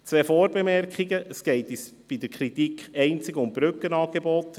Zwei Vorbemerkungen: Erstens: Es geht bei unserer Kritik einzig um die Brückenangebote;